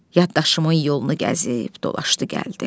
Yaddaşımın yolunu gəzib dolaşdı, gəldi.